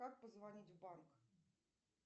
как позвонить в банк